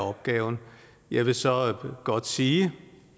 opgaven jeg vil så godt sige